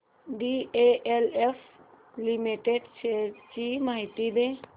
DLF limited shares ची माहिती दे